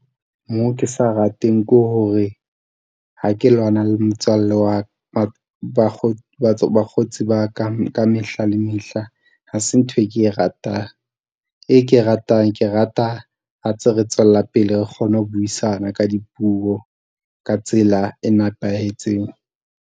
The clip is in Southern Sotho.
Moo ke sa rateng ke hore ha ke lwana le motswalle wa, bakgotsi ba ka mehla le mehla, ha se ntho e ke e ratang. E ke e ratang, ke rata ha ntse re tswella pele re kgone ho buisana ka dipuo ka tsela e nepahetseng.